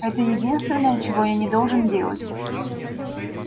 это единственное чего я не должен делать